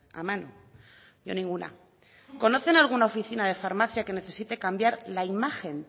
a mano yo ninguna conocen alguna oficina de farmacia que necesite cambiar la imagen